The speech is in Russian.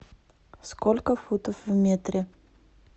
сколько футов в метре